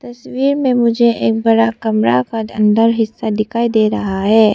तस्वीर में मुझे एक बड़ा कमरा का अंदर हिस्सा दिखाई दे रहा है।